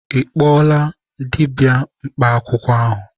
Ị kpọọla dibịa mkpa akwụkwọ ahụ?